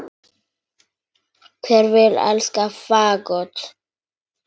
Hver vill elska fagott?